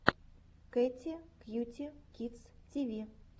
кэти кьюти кидс ти ви